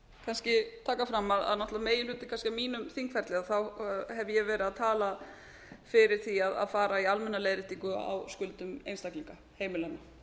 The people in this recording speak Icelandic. kannski taka fram að náttúrlega meginhlutann kannski af mínum þingferli hef ég verið að tala fyrir því að fara í almenna leiðréttingu á skuldum einstaklinga heimilanna